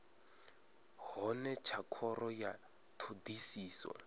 hone tsha khoro ya thodisiso